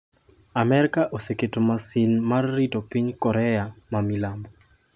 Amerka oseketo masin mar rito piny Korea ma milambo